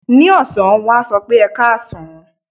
Ní ọ̀sán, wọ́n á sọ pé "ẹkáàsán".